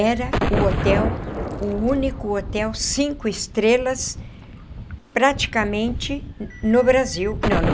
Era o hotel, o único hotel, cinco estrelas, praticamente no Brasil não.